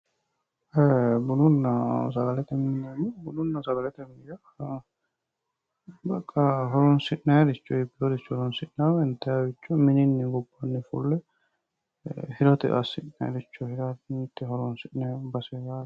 e"e bununa sagalete mine yineemmohu bununna sagalete mini yaa baqa horonsi'nanniricho mittoricho horonsi'nanni intanniricho minini fulle gobbanni hirote assi'nannirichoti mittore horonsi'nayiri base yaate.